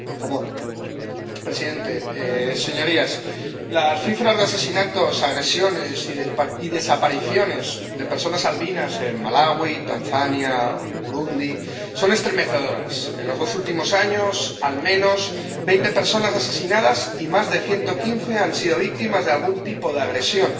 Señor presidente, señorías, las cifras de asesinatos, agresiones y desapariciones de personas albinas en Malaui, Tanzania o Burundi son estremecedoras en los dos últimos años, al menos veinte personas asesinadas y más de ciento quince han sido víctimas de algún tipo de agresión,